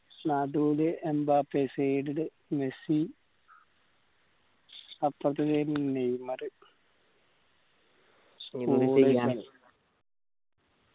നടൂല് Mbappe side ല് Messi അപ്പർത്തേ side ല് നെയ്‌മർ